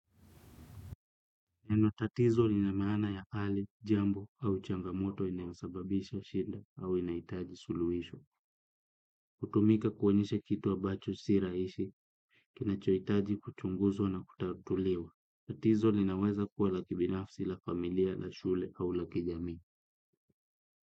Neno tatizo lina maana ya ali, jambo au changamoto inayo sababisha shinda au inahitaji suluhisho. Hutumika kuonyesha kitu wa ambacho si rahisi, kinachohitaji kuchunguzwa na kutatuliwa. Tatizo linaweza kuwa la kibinafsi, la familia, la shule au la kijamii.